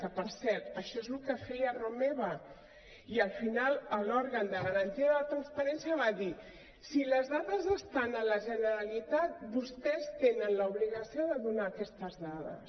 que per cert això és el que feia romeva i al final l’òrgan de garantia de la transparència va dir si les dades estan a la generalitat vostès tenen l’obligació de donar aquestes dades